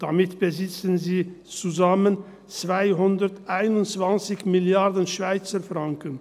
Damit besitzen sie zusammen 221 Mrd. Schweizer Franken.